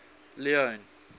leone